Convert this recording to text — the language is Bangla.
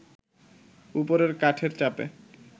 ওপরের কাঠের চাপে